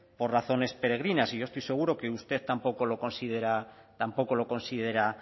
por razones peregrinas y yo estoy seguro que usted tampoco lo considera